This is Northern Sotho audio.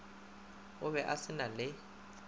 ka be se na le